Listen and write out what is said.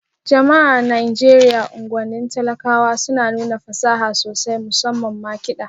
Jama'a a Najeriya unguwannin talakawa suna nuna fasaha sosai, musamman ma kiɗa